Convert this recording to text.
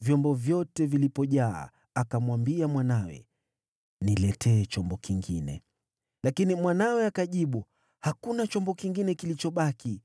Vyombo vyote vilipojaa, akamwambia mwanawe, “Niletee chombo kingine.” Lakini mwanawe akajibu, “Hakuna chombo kingine kilichobaki.”